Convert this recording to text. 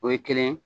O ye kelen ye